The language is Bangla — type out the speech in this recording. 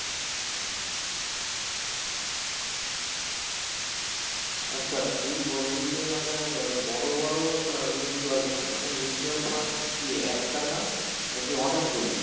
আচ্ছা তুই বলি যে মানে বড়ো বড়ো আহ mutual fund মানে mutual fund কি একটা না মানে কি অনেক গুলো